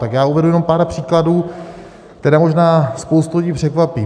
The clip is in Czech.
Tak já uvedu jenom pár příkladů, které možná spoustu lidí překvapí.